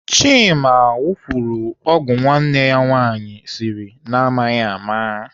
Chima wufuru ọgwụ nwanne ya nwaanyị siri na amaghị ama.